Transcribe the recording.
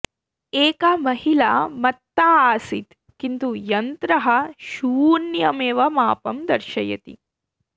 एका महिला मत्ता आसीत् किन्तु यन्त्रः शून्यम् एव मापं दर्शयति